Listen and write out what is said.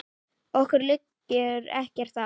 Okkur liggur ekkert á